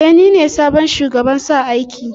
E, ni ne sabon shugaban sa aiki din.